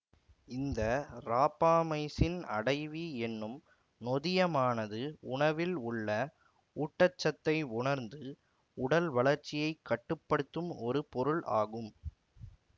இந்த ராப்பாமைசின் அடைவி என்னும் நொதியமானது உணவில் உள்ள ஊட்டச்சத்தை உணர்ந்து உடல்வளர்ச்சியை கட்டு படுத்தும் ஒரு பொருள் ஆகும்